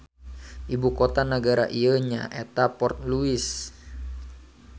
Ibu kota nagara ieu nya eta Port Louis.